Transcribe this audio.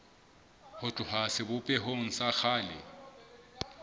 ho tloha sebopehong sa kgale